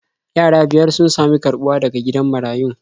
Yara biyar sun sami karɓuwa daga gidan marayun.